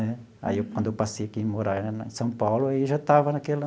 Né aí, quando eu passei aqui a morar em São Paulo, aí já estava naquela...